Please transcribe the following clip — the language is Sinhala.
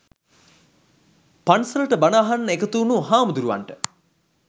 පන්සලට බණ අහන්න එකතු වුණු හාමුදුරුවන්ට